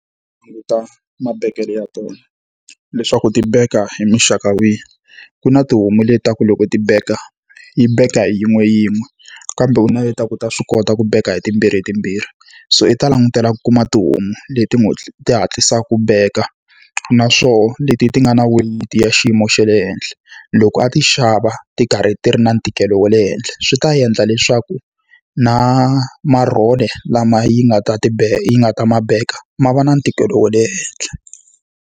mabekelo ya tona, leswaku ti beka hi muxaka wihi. Ku na tihomu leti ta ku loko ti beka yi benka hi yin'we yin'we, kambe u na leti ya ku ta swi kota ku beka hi timbirhitimbirhi. So i ta langutela ku kuma tihomu leti n'wi ti hatlisaka ku beka, naswona leti ti nga na weyiti ya xiyimo xa le henhla. Loko a ti xava ti karhi ti ri na ntikelo wa le henhla, swi ta endla leswaku na marhole lama yi nga ta ti yi nga ta ma beka, ma va na ntikelo wa le henhla.